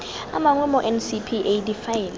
a mangwe mo ncpa difaele